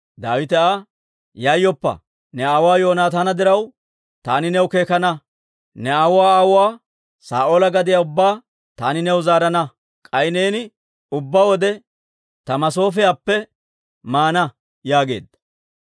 Daawite Aa, «Yayyoppa; ne aawuwaa Yoonataana diraw, taani new keekana. Ne aawuwaa aawuwaa Saa'oola gadiyaa ubbaa taani new zaarana; k'ay neeni ubbaa wode ta masoofiyaappe maana» yaageedda.